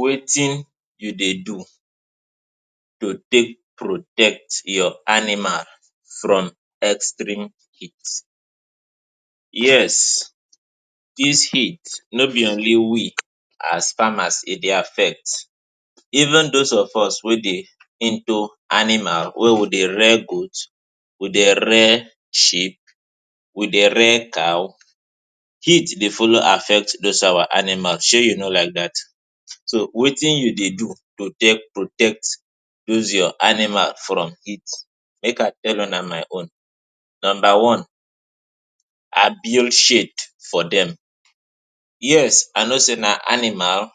Wetin you dey do to take protect your animal from extreme heat? Yes, dis heat, no be only we as farmers e dey affect. Even those of us wey dey into animal wey we dey rear goat, we dey rear sheep, we dey rear cow, heat dey follow affect those our animals. Se you know like dat? So, wetin you dey do to take protect those your animal from heat? Make I tell una my own. Nomba one, I build shade for dem. Yes, I know sey na animal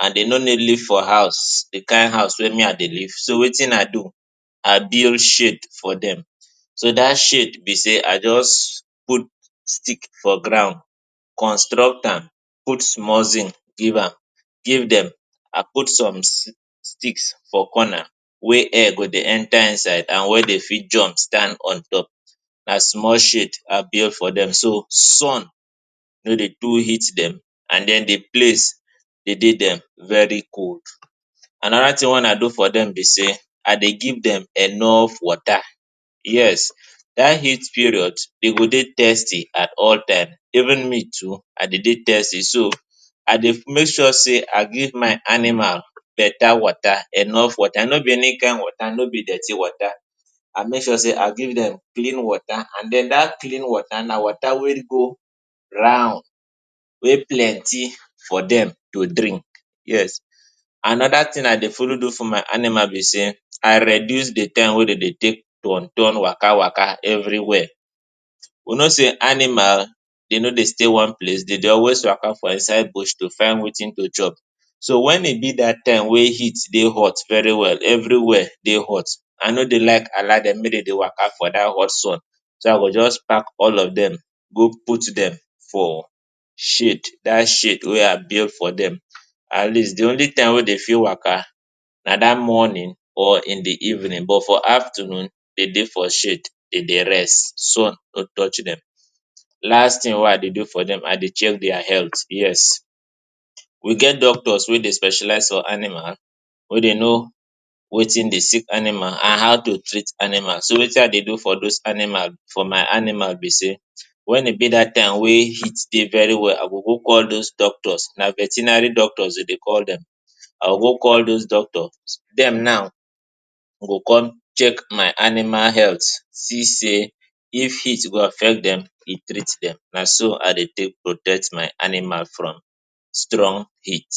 and de no need live for house, di kind house wey me I dey live. So wetin I do? I build shade for dem. So, dat shade be sey I just put stick for ground, construct am, put small zinc give am, give dem, and put some sti- sticks for corner wey air go dey enter inside and where dem fit jump stand on top. Na small shade I build for dem so, sun no dey too hit dem and then di place dey de dem very cold. Another tin wey I do for dem be sey I dey give dem enough water. Yes, dat heat period, de go dey thirsty at all time. Even me too, I de dey thirsty, so I dey make sure sey I give my animal beta water, enough water - no be any kind water, no be dirty water. I make sure sey I give dem clean water and then, dat clean water na water wey go round, wey plenti for dem to drink. Yes, another tin I dey follow do for my animal be sey I reduce di time wey dem de take turn turn, waka waka everywhere. We know sey animal, de no dey stay one place, de de always waka for inside bush to find wetin to chop. So, wen e be dat time wey heat dey hot very well, everywhere dey hot, I no dey like allow dem make dem de waka for dat hot sun. So, I go just pack all of dem go put dem for shade, dat shade wey I build for dem. At least di only time wey de fit waka na dat morning or in di evening, but for afternoon, de dey for shade, de dey rest; sun no touch dem. Last tin wey I dey do for dem: I dey check their health. Yes, we get doctors wey dey specialize on animal, wey dem know wetin dey sick animal and how to treat animal. So wetin I dey do for those animal, for my animal be sey, wen e be dat time wey heat dey very well, I go go call those doctors. Na veterinary doctors de de call dem. I go go call those doctors. Dem now, go con check my animal health, see sey if heat go affect dem, e treat dem. Na so I dey take protect my animal from strong heat.